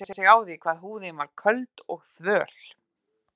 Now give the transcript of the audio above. Furðaði sig á því hvað húðin var köld og þvöl.